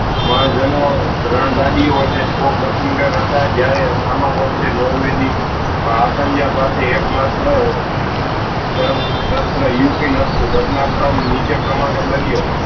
માજનો રન્જદીયો અને ટોપ machine gun હતા જયારે સમા પક્ષે નોર્વે ની આ સંજ્ઞા પાસે એક માત્ર શસ્ત્ર ઉપીન હતું ઘટના કર્મ નીચે પ્રમાણે બન્યો